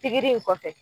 Pikiri in kɔfɛ